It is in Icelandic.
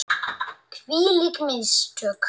Hvílík mistök!